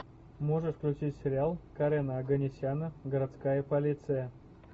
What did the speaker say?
можешь включить сериал карена оганесяна городская полиция